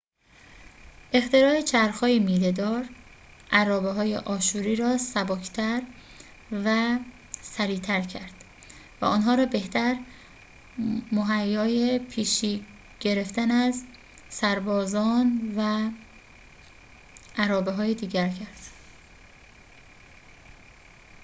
اختراع چرخ های میله‌دار ارابه های آشوری را سبک تر و سریعتر کرد و آنها را بهتر مهیای پیشی گرفتن از سربازان و ارابه‌های دیگر کرد